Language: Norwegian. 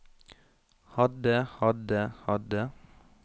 hadde hadde hadde